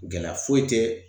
Gɛlɛya foyi tɛ